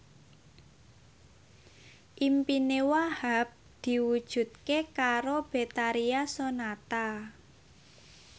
impine Wahhab diwujudke karo Betharia Sonata